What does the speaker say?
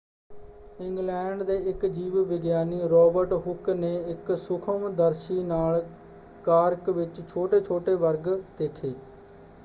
England ਦੇ ਇੱਕ ਜੀਵ-ਵਿਗਿਆਨੀ ਰੌਬਰਟ ਹੁੱਕ ਨੇ ਇੱਕ ਸੂਖਮ-ਦਰਸ਼ੀ ਨਾਲ ਕਾਰਕ ਵਿੱਚ ਛੋਟੇ-ਛੋਟੇ ਵਰਗ ਦੇਖੇ।